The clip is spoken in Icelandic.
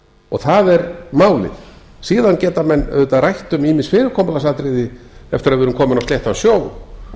og það er málið síðan geta menn auðvitað rætt um ýmis fyrirkomulagsatriði eftir að við erum komin á sléttan sjó